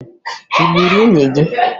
Ị gburu nwunye gị?